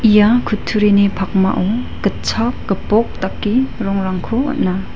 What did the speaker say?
ia kutturini pakmao gitchak gipok dake rongrangko on·a.